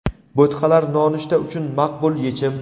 Bo‘tqalar nonushta uchun maqbul yechim.